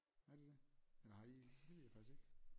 Er det det eller har I det ved jeg faktisk ikke